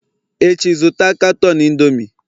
Echi, zụta katọn Indomie!